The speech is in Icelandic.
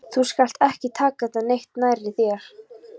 Þú skalt ekki taka þetta neitt nærri þér.